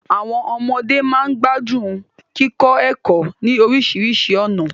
Àwọn ọmọde máa ń gbádùn kíkọ ẹ̀kọ́ ní oríṣiríṣi ọ̀nà